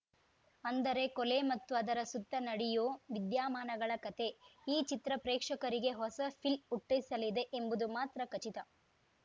ಅಂದರೆ ಕೊಲೆ ಮತ್ತು ಅದರ ಸುತ್ತ ನಡೆಯೋ ವಿದ್ಯಮಾನಗಳ ಕತೆ ಈ ಚಿತ್ರ ಪ್ರೇಕ್ಷಕರಿಗೆ ಹೊಸ ಫೀಲ್‌ ಹುಟ್ಟಿಸಲಿದೆ ಎಂಬುದು ಮಾತ್ರ ಖಚಿತ